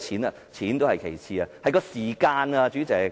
金錢也是其次，時間反而最重要。